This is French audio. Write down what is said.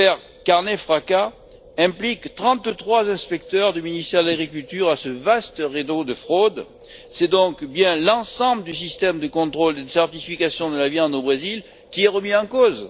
L'affaire carne fraca implique trente trois inspecteurs du ministère de l'Agriculture dans ce vaste réseau de fraude, c'est donc bien l'ensemble du système de contrôle d'une certification de la viande au Brésil qui est remis en cause.